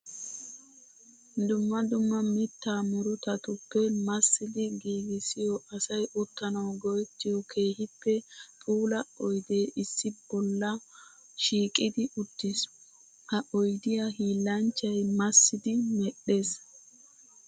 Dumma dumma mitta murutattuppe massiddi giigissiyo asay uttanawu go'ettiyo keehippe puula oydde issi bolla shiiqiddi uttis. Ha oyddiya hiillanchchay massiddi medhdhees.